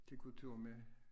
Til kultur med